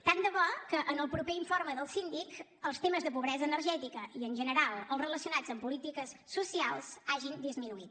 tant de bo que en el proper informe del síndic els temes de pobresa energètica i en general els relacionats amb polítiques socials hagin disminuït